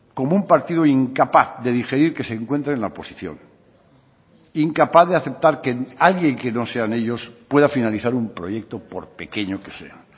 como un partido incapaz de digerir que se encuentra en la oposición incapaz de aceptar que alguien que no sean ellos pueda finalizar un proyecto por pequeño que sea